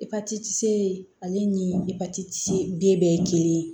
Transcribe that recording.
Epatiti ale ni epatiti t den bɛɛ ye kelen ye